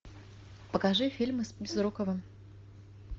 покажи фильмы с безруковым